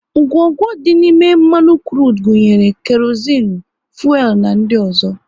Ngwongwo dị n'ime mmanụ krudu gunyere; kerozinu, fuelu na ndị ọzọ